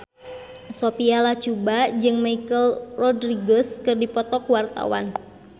Sophia Latjuba jeung Michelle Rodriguez keur dipoto ku wartawan